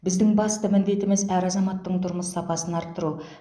біздің басты міндетіміз әр азаматтың тұрмыс сапасын арттыру